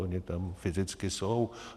Ony tam fyzicky jsou.